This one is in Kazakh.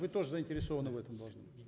вы тоже заинтересованы в этом должны быть